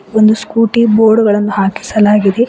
ಒಂದು scooty board ಗಳನ್ನು ಹಾಕಿಸಲಾಗಿದೆ.